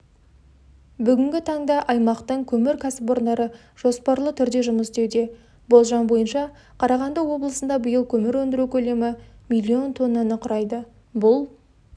бүгінгі таңда аймақтың көмір кәсіпорындары жоспарлы түрде жұмыс істеуде болжам бойынша қарағанды облысында биыл көмір өндіру көлемі миллион тоннаны құрайды бұл